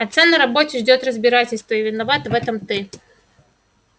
отца на работе ждёт разбирательство и виноват в этом ты